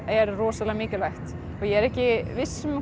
er mikilvægt ég er ekki viss um að